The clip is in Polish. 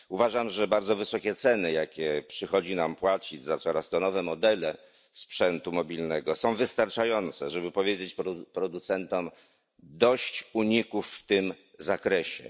Uważam, że bardzo wysokie ceny, jakie przychodzi nam płacić za coraz to nowsze modele sprzętu mobilnego, są wystarczające, żeby powiedzieć producentom dość uników w tym zakresie.